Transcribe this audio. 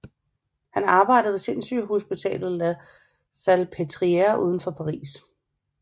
Han arbejdede ved sindssygehospitalet La Salpêtrière uden for Paris